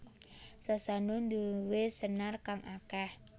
Sasando nduwe senar kang akeh